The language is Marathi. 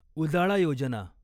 उजाळा योजना